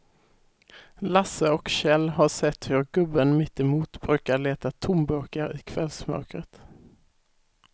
Lasse och Kjell har sett hur gubben mittemot brukar leta tomburkar i kvällsmörkret.